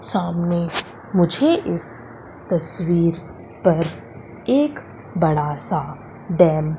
सामने मुझे इस तस्वीर पर एक बड़ा सा डॅम --